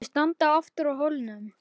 Þau standa aftur á hólnum.